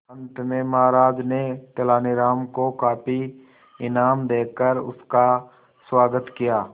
अंत में महाराज ने तेनालीराम को काफी इनाम देकर उसका स्वागत किया